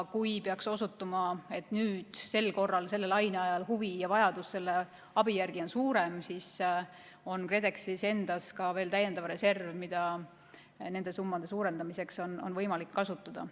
Kui peaks osutuma, et nüüd sel korral, selle laine ajal huvi ja vajadus sellise abi järele on suurem, siis on KredExil endal ka veel täiendav reserv, mida nende summade suurendamiseks on võimalik kasutada.